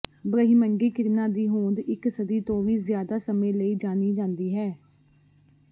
ਬ੍ਰਹਿਮੰਡੀ ਕਿਰਨਾਂ ਦੀ ਹੋਂਦ ਇਕ ਸਦੀ ਤੋਂ ਵੀ ਜ਼ਿਆਦਾ ਸਮੇਂ ਲਈ ਜਾਣੀ ਜਾਂਦੀ ਹੈ